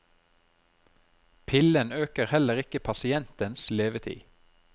Pillen øker heller ikke pasientens levetid.